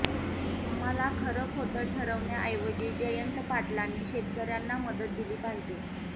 आम्हाला खर खोट ठरवण्याऐवजी जयंत पाटलांनी शेतकऱ्यांना मदत दिली पाहिजे